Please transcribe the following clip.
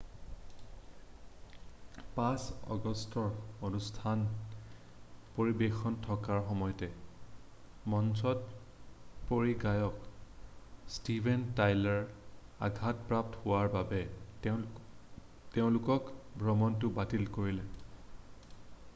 5 আগষ্টত অনুষ্ঠান পৰিবেশন থকাৰ সময়তে মঞ্চত পৰি গায়ক ষ্টিভেন টাইলাৰ আঘাতপ্ৰাপ্ত হোৱাৰ বাবে তেওঁলোকে ভ্ৰমণটো বাতিল কৰিলে